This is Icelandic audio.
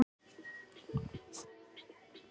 """Ertu það ekki, Helga mín?"""